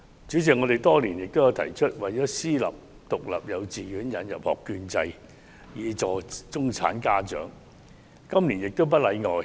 主席，我們多年來亦提出為私立獨立幼稚園引入學券制，以協助中產家長，今年亦不例外。